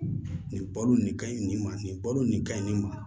Nin balo nin ka ɲi nin ma nin balo nin ka ɲi nin ma